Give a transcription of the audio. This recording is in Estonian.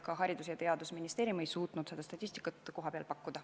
Ka Haridus- ja Teadusministeerium ei suutnud seda statistikat kohapeal pakkuda.